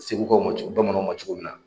Seguka ma co bamananw ma cogo min na